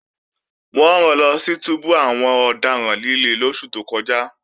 Wọ́n ran lọ sí túbú àwọn ọ̀daràn líle lóṣù tó kọjá